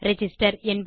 register